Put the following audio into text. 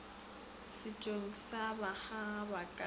setšong sa bakgaga ba ga